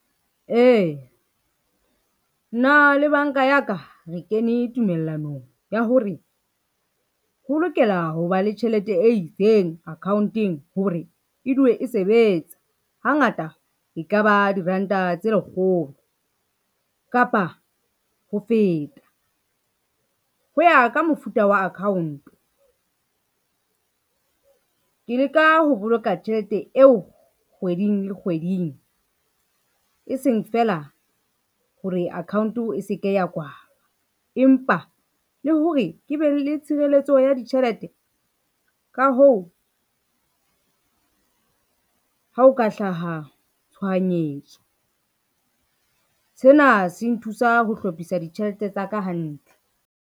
Ee, nna le banka ya ka, re kene tumellanong ya hore, ho lokela ho ba le tjhelete e itseng account-eng hore e dule e sebetsa, hangata e ka ba diranta tse lekgolo kapa ho feta, ho ya ka mofuta wa account. Ke leka ho boloka tjhelete eo kgweding le kgweding e seng fela hore account e se ke ya kwalwa empa le hore ke be le tshireletso ya ditjhelete ka hoo, ha o ka hlaha tshohanyetso, sena se nthusa ho hlophisa ditjhelete tsa ka hantle.